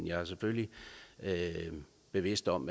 jeg er selvfølgelig bevidst om